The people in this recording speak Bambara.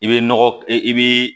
I bɛ nɔgɔ i bi